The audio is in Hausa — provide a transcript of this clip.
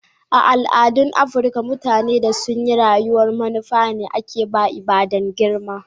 A' al'adun Afrika, mutane da sun yi rayuwa'n manufa ne ake ba ibada'n girma.